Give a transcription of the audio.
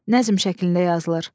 Nəzm şəklində yazılır.